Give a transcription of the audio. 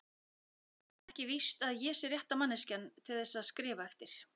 Það er ekki víst að ég sé rétta manneskjan til þess að skrifa eftir